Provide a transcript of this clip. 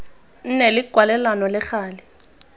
nne le kwalelano le gale